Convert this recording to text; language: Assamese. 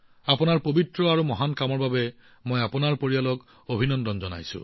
এই পৱিত্ৰ আৰু মহান কামৰ বাবে মই আপোনাৰ গোটেই পৰিয়ালটোক অভিনন্দন জনাইছো